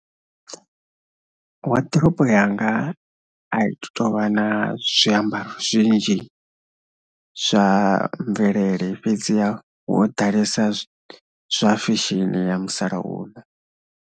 Waḓirobo yanga a i tou vha na zwiambaro zwinzhi zwa mvelele fhedziha ho ḓalesa zwa fesheni ya musalauno.